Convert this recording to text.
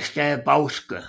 staden Bauske